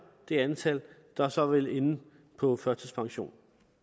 det antal der så vil ende på førtidspension